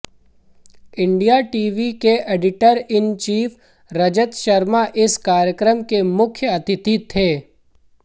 India TV के editor in chief Rajat Sharma इस कार्यक्रम के मुख्य अतिथि थे